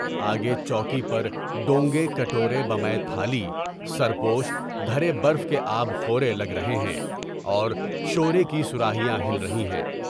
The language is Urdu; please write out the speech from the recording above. آگے چوکی پر ڈونگے کٹورے، بمعِ تھالی، سریوش، دھرے برف کے آب خورے لگ رہے ہیں اور شورے کی صراحیاں ہل رہی ہیں۔